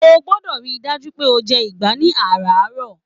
O gbọ́dọ̀ rí i dájú pé o jẹ ìgbá ní àràárọ̀